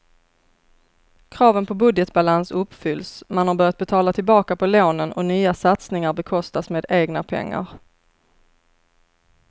Kraven på budgetbalans uppfylls, man har börjat betala tillbaka på lånen och nya satsningar bekostas med egna pengar.